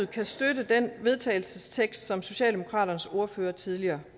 kan støtte den vedtagelsestekst som socialdemokratiets ordfører tidligere